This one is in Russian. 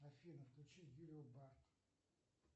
афина включи юлию барт